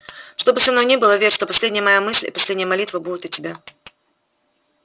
что бы со мною ни было верь что последняя моя мысль и последняя молитва будет о тебе